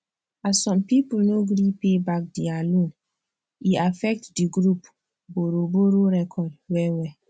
as some people no gree pay back their loan e affect the group borrowborrow record wellwell